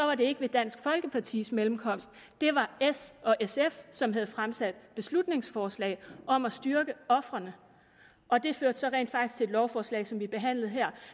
var det ikke med dansk folkepartis mellemkomst det var s og sf som havde fremsat beslutningsforslag om at styrke ofrene og det førte rent faktisk til et lovforslag som vi behandlede her